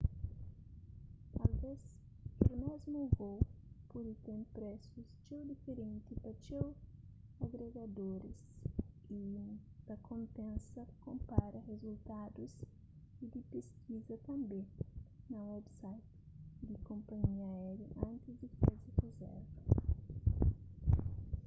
asves kel mésmu vôu pode ten presus txeu diferenti pa txeu agregadoriis y ta konpensa konpara rizultadus y di peskiza tanbê na website di konpanhia aériu antis di faze rizérva